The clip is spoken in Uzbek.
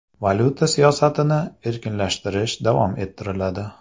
Valyuta siyosatini erkinlashtirish davom ettiriladi.